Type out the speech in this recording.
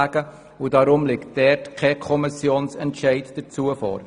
Deshalb liegt kein Kommissionsentscheid dazu vor.